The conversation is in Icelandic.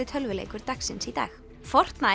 tölvuleikur dagsins í dag